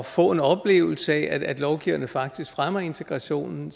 få en oplevelse af at lovgiverne faktisk fremmer integrationen